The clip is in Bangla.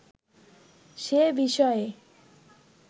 সে বিষয়ে